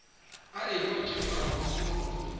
a ekwa tšeo a homola